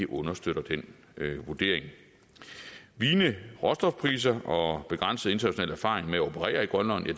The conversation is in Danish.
understøtter den vurdering vigende råstofpriser og begrænset international erfaring med at operere